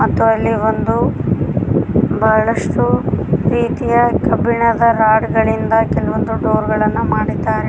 ಮತ್ತು ಅಲ್ಲಿ ಒಂದು ಬಹಳಷ್ಟು ರೀತಿಯ ಕಬ್ಬಿಣದ ರಾಡು ಗಳಿಂದ ಕೆಲವೊಂದು ಡೋರ್ಗಳನ್ನು ಮಾಡಿದ್ದಾರೆ.